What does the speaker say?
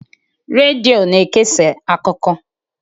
Redio na-ekesa akụkọ.